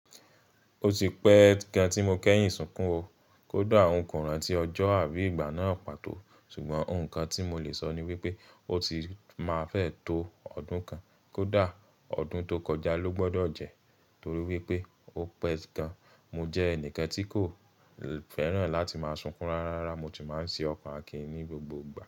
Ó ti pẹ́ gan tí mo kẹ́yìn sunkún o. Kódà ohun kan rán ti ọjọ́ àbí ìgbà náà pàtó. Ṣùgbọ́n ohun kan tí mo lè sọ ni wípé o ti máa fẹ́ to ọdún kan. Kódà ọdún tó kọjá ló gbọ́dọ̀ jẹ́ torí wípé ó pẹ́ gan. Mo jẹ́ ẹnìkan tí kò fẹ́ràn láti máa sunkún rárá, mo tì máa ń ṣe ọkọ̀ akín ní gbogbo ìgbà.